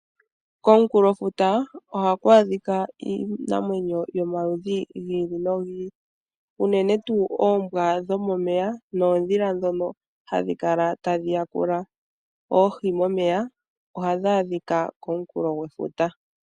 Komunkulofuta, ohaku adhika iinamwenyo yomaludhi gi ili nogi ili. Unene tuu oombwa dhomomeya, noondhila dhono hadhi kala tadhi ya kula oohi momeya, ohadhi adhika komunkulofuta.